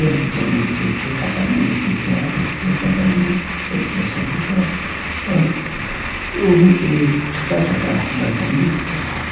kitchen में मुझे एक छोटा सा मेज दिख रहा है जिसके बगल में एक प्रेशर कुकर और वहीं पे छोटा छोटा बर्तन भी दिख रहा --